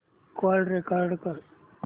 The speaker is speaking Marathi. कॉल रेकॉर्ड कर